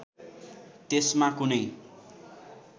त्यसमा कुनै